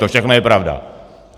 To všechno je pravda.